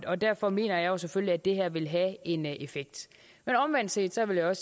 og derfor mener jeg selvfølgelig at det her vil have en effekt omvendt set vil jeg